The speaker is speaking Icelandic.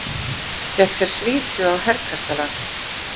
Fékk sér svítu á Herkastalanum.